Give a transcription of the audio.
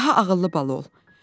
Daha ağıllı bala ol.